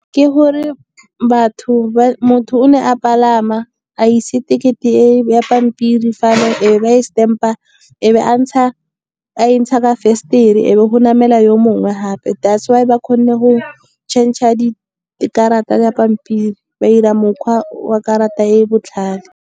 Ke gore motho o ne a palama a ise ticket e ya pampiri fano e ba e stamp-a, a be a e ntsha ka fensetere, e be go namela yo mongwe gape. That's why ba kgonne go change-a di karata ya pampiri, ba dira mokgwa wa karata e e botlhale.